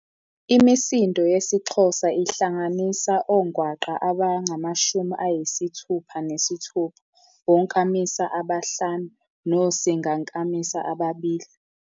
Imisindo yesiXhosa ihlanganisa ongwaqa abangamashumi ayisithupha nesithupha, onkamisa abahlanu nosingankamisa ababili.